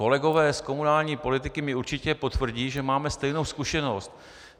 Kolegové z komunální politiky mi určitě potvrdí, že máme stejnou zkušenost.